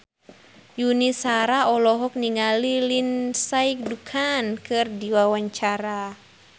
Yuni Shara olohok ningali Lindsay Ducan keur diwawancara